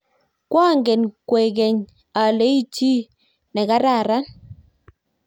koangen kwekeny ale ichi chii ne kararan